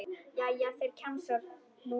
Já, þeir, kjamsar hún.